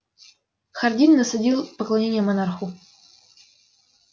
хардин насадил поклонение монарху